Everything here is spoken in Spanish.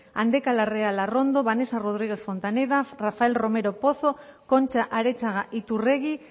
andeka larrea larrondo vanessa rodríguez fontaneda rafael romero pozo concha arechaga iturregui